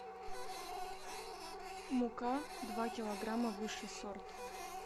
мука два килограмма высший сорт